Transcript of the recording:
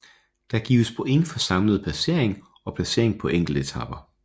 Der gives point for samlede placering og placering på enkeltetaper